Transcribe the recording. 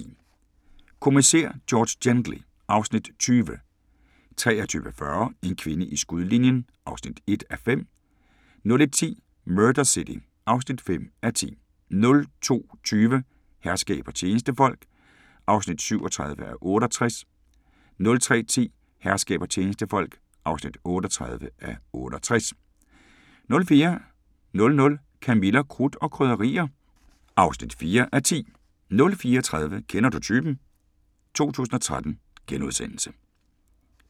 22:10: Kommissær George Gently (Afs. 20) 23:40: En kvinde i skudlinjen (1:5) 01:10: Murder City (5:10) 02:20: Herskab og tjenestefolk (37:68) 03:10: Herskab og tjenestefolk (38:68) 04:00: Camilla – Krudt og Krydderier (4:10) 04:30: Kender du typen? 2013 *